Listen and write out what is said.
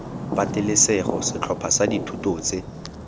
patelesego setlhopha sa dithuto tse